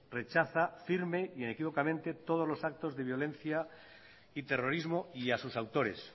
rechaza firme e inequívocamente todos los actos de violencia y terrorismo y a sus autores